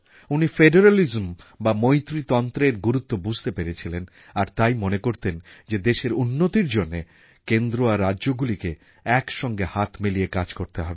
উনি ফেডারালিজম বা মৈত্রীতন্ত্রের গুরুত্ব বুঝতে পেরেছিলেন আর তাই মনে করতেন যে দেশের উন্নতির জন্যে কেন্দ্র আর রাজ্যগুলিকে একসঙ্গে হাত মিলিয়ে কাজ করতে হবে